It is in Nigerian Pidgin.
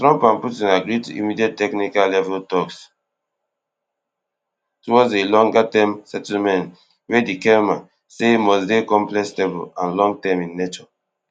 trump and putin agree to immediate technical level talks towards a longerterm settlement wey di kelma say must dey complex stable and longterm in nature